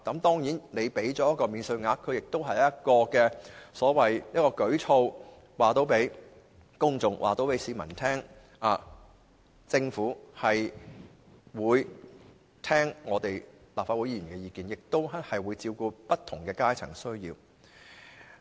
當然，給予他們免稅額亦是一項舉措，讓市民大眾知道，政府會聽取立法會議員的意見，亦會照顧不同階層的需要。